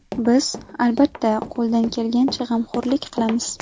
Biz, albatta, qo‘ldan kelgancha g‘amxo‘rlik qilamiz.